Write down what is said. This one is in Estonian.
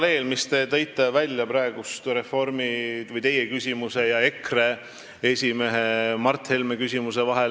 See, mis te praegu esile tõite, on paralleel EKRE esimehe Mart Helme küsimusega.